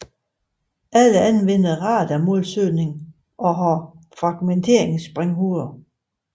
Alle anvender radarmålsøgning og har fragmenteringssprænghoveder